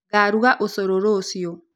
Ngaruga ũcũrũ rũciu